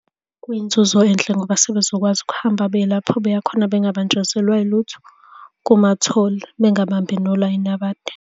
Kuyinzuzo enhle ngoba sebezokwazi ukuhamba beye lapho beya khona bengabanjezelwa yilutho kuma-toll, Bengabambi nolayini abade.